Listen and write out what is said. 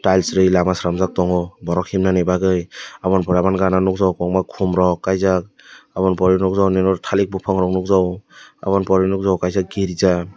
aalsiri lama chelamjak tango borok himnani bagoi obononi pore oboni gana nogjago kobangma kom rok kaijak obo ni pore nogjago nini oro talik bopang nogjago obo ni pore nogjago kaisa girja.